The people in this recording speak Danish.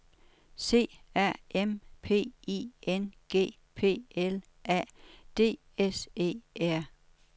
C A M P I N G P L A D S E R